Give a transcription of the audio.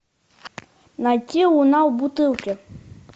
найти луна в бутылке